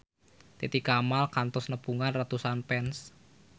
Titi Kamal kantos nepungan ratusan fans